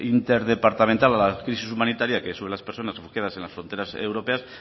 interdepartamental a la crisis humanitaria es sobre las personas refugiadas en las fronteras europeas